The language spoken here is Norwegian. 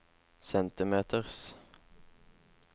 centimeters